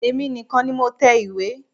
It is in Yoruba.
Èmi nìkan ni mo tẹ ìwé.